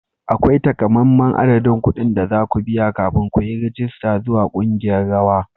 Akwai takamaiman adadin kuɗin da za ku biya kafin ku yi rajista zuwa ƙungiyar rawa.